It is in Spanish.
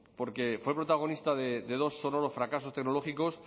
porque fue protagonista de dos sonoros fracasos tecnológicos